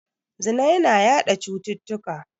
Zina yana yaɗa cututtuka.